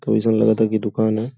त अइसन लागता की दुकान ह।